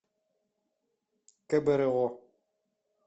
кбро